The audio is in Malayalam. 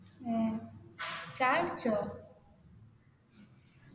എ ചായ കുടിച്ചോ